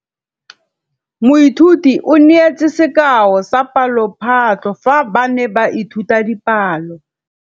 Moithuti o neetse sekaô sa palophatlo fa ba ne ba ithuta dipalo.